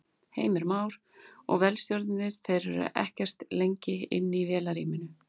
Heimir Már: Og vélstjórarnir, þeir eru ekkert lengi inni í vélarrúminu?